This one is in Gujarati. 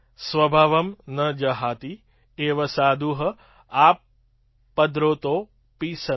સ્વભાવં ન જહાતિ એવ સાધુઃ આપદ્રતોપી સન